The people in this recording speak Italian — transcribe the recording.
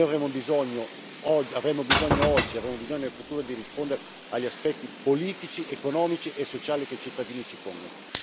Noi avremmo bisogno oggi e avremo bisogno in futuro di rispondere agli aspetti politici, economici e sociali che i cittadini ci pongono.